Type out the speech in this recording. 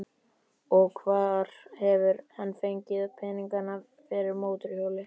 Og hvar hefur hann fengið peninga fyrir mótorhjóli?